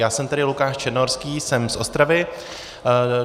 Já jsem tedy Lukáš Černohorský, jsem z Ostravy.